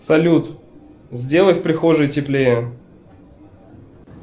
салют сделай в прихожей теплее